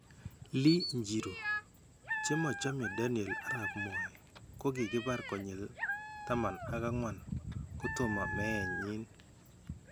Lee njiru: Chemachame Daniel Arap Moi 'kokibaar konyill 14' kotomo meet nyin